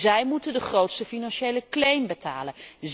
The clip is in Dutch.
Zij moeten de grootste financiële claim betalen.